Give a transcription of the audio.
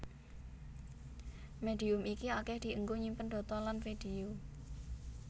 Médium iki akèh dienggo nyimpen data lan vidéo